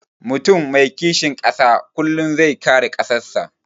Mutum mai kishin ƙasa kullum zai kare ƙasan sa